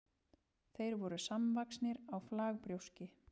þeir voru samvaxnir á flagbrjóski